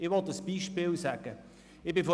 Ich will ein Beispiel nenne.